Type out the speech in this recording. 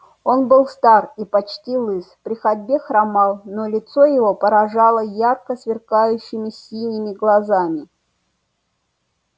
он был стар и почти лыс при ходьбе хромал но лицо его поражало ярко сверкающими синими глазами